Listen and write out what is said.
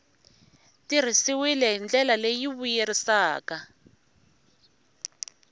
tirhisiwile hi ndlela leyi vuyerisaka